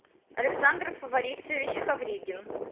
александр борисович ковригин